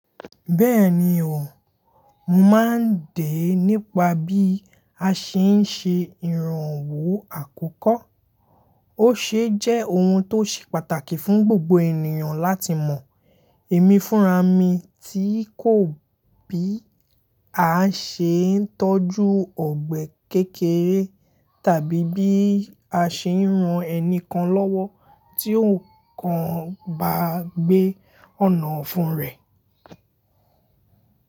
Bẹ́ẹ̀ni o, mò máa ń dè nípa bí a ṣe ń ṣe ìrànwọ́ àkọ́kọ́. Ó ṣeé jẹ́ ohun tó ṣe pàtàkì fún gbogbo ènìyàn láti mọ̀. Emi fúnra mi tí kò bí a ṣe ń tọ́jú ọ̀gbẹ̀ kékeré tàbí bí a ṣe ń ran ẹni kan lọ́wọ́ tí ohùn kan bá gbé ọ̀nà ọ̀fun rẹ̀.